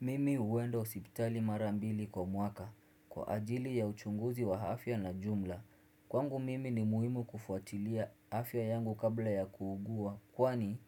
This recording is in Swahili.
Mimi huenda hosipitali mara mbili kwa mwaka. Kwa ajili ya uchunguzi wa afya na jumla. Kwangu mimi ni muhimu kufuatilia afya yangu kabla ya kuugua. Kwani